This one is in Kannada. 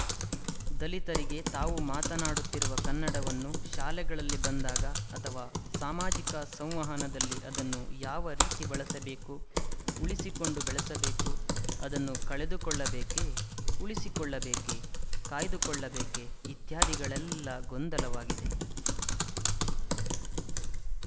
ದಲಿತರಿಗೆ ತಾವು ಮಾತನಾಡುತ್ತಿರುವ ಕನ್ನಡವನ್ನು ಶಾಲೆಗಳಲ್ಲಿ ಬಂದಾಗ ಅಥವಾ ಸಾಮಾಜಿಕ ಸಂವಹನದಲ್ಲಿ ಅದನ್ನು ಯಾವ ರೀತಿ ಬಳಸಬೇಕು ಉಳಿಸಿಕೊಂಡು ಬೆಳಸಬೇಕು ಅದನ್ನು ಕಳೆದುಕೊಳ್ಳಬೇಕೇ ಉಳಿಸಿಕೊಳ್ಳಬೇಕೇ ಕಾಯ್ದುಕೊಳ್ಳಬೇಕೇ ಇತ್ಯಾದಿಗಳೆಲ್ಲ ಗೊಂದಲವಾಗಿದೆ